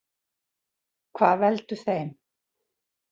Hvað veldur þeim?